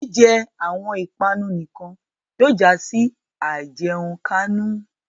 Jijẹ awọn ipanu nikan yóò ja si àìjẹunkánú